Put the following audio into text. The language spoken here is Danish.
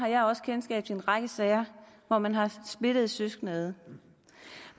også kendskab til en række sager hvor man har splittet søskende ad